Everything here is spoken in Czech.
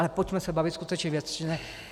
Ale pojďme se bavit skutečně věcně.